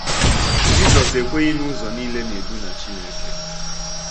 Jizọs ekweghị na ụzọ niile na -edu ná Chineke.